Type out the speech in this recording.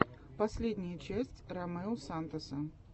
последняя часть ромео сантоса